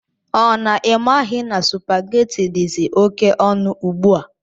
Ọ na imaghi na supaghetti dizi oké ọnụ ugbua?